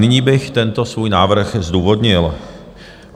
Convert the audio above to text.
Nyní bych tento svůj návrh zdůvodnil.